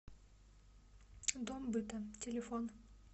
дом быта телефон